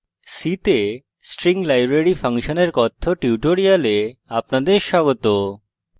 c তে string library ফাংশনের কথ্য tutorial আপনাদের স্বাগত